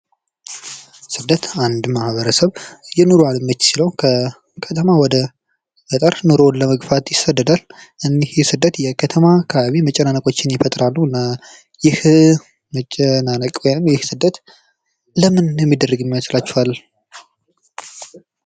ስደት አንድ ማህበረሰብ ወይ ኑሮ አልመች ሲለው ከከተማ ወደ ገጠር ኑሮውን ለመግፋት ይሰደዳል። እንግዲህ ስደት የከተማ አካባቢ መጨናነቆችን ይፈጥራሉ እና ይህ መጨናነቅ ወይም ስደት ለምን የሚደረግ ይመስላችኋል?